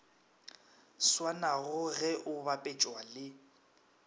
swanago ge o bapetšwa le